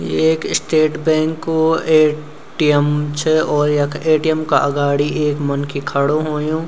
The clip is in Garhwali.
ये एक स्टेट बैंको ए.टी.एम. च और यख ए.टी.एम. का अगाड़ी एक मनखी खडू होयूं।